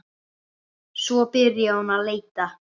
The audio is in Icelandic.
Svo byrjaði hún að leita.